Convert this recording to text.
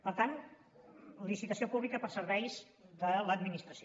per tant licitació pública per serveis de l’administració